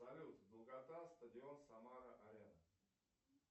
салют долгота стадион самара арена